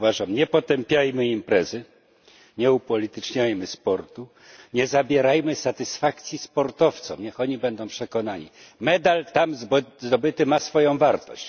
Nie potępiajmy jednak imprezy, nie upolityczniajmy sportu, nie zabierajmy satysfakcji sportowcom niech oni będą przekonani medal tam zdobyty ma swoją wartość.